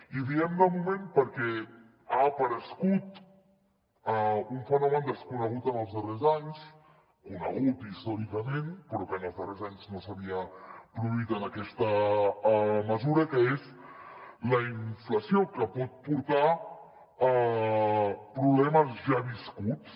i diem de moment perquè ha aparegut un fenomen desconegut en els darrers anys conegut històricament però que en els darrers anys no s’havia produït en aquesta mesura que és la inflació que pot portar a problemes ja viscuts